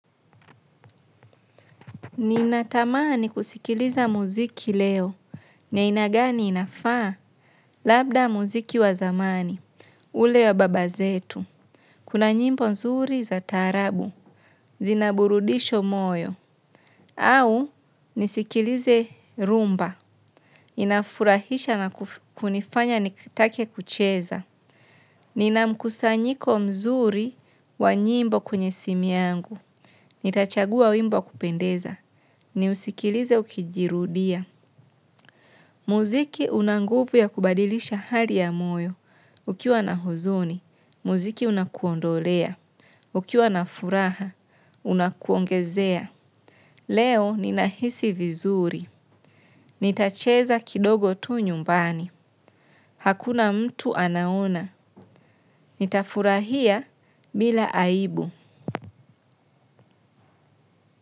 Ninatamani kuskiliza musiki leo. Ni aina gani inafaa labda muziki wazamani. Ule wa babazetu. Kuna nyimbo nzuri za tarabu. Zinaburudisho moyo. Au nisikilize rumba. Inafurahisha na kunifanya nitake kucheza. Ninamkusanyiko mzuri wa nyimbo kwenye simu yangu. Nitachagua wimbo wa kupendeza. Ni usikilize ukijirudia. Muziki una nguvu ya kubadilisha hali ya moyo. Ukiwa na huzuni, muziki unakuondolea. Ukiwa na furaha, unakuongezea. Leo ninahisi vizuri. Nitacheza kidogo tu nyumbani. Hakuna mtu anaona. Nitafurahia bila aibu.